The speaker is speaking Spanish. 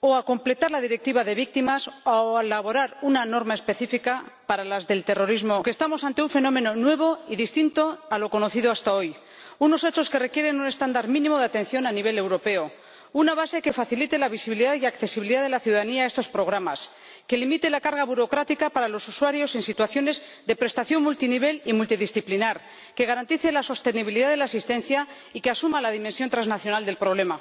o a completar la Directiva de víctimas o a elaborar una norma específica para las víctimas del terrorismo global, porque estamos ante un fenómeno nuevo y distinto a lo conocido hasta hoy unos hechos que requieren un estándar mínimo de atención a nivel europeo, una base que facilite la visibilidad y accesibilidad de la ciudadanía a estos programas, que limite la carga burocrática para los usuarios en situaciones de prestación multinivel y multidisciplinar, que garantice la sostenibilidad de la asistencia y que asuma la dimensión transnacional del problema.